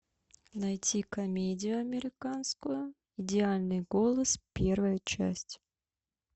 найти комедию американскую идеальный голос первая часть